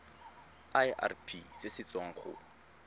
irp se se tswang go